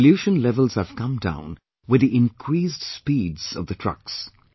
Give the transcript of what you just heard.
Pollution levels have come down with the increased speeds of the trucks